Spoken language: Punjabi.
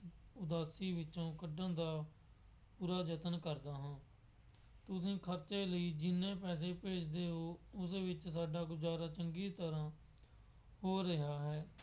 ਉਦਾਸੀ ਵਿੱਚੋਂ ਕੱਢਣ ਦਾ ਪੂਰਾ ਯਤਨ ਕਰਦਾ ਹਾਂ। ਤੁਸੀਂ ਖਰਚੇ ਲਈ ਜਿੰਨੇ ਪੈਸੇ ਭੇਜਦੇ ਹੋ ਉਹਦੇ ਵਿੱਚ ਸਾਡਾ ਗੁਜ਼ਾਰਾ ਚੰਗੀ ਤਰ੍ਹਾ ਹੋ ਰਿਹਾ ਹੈ।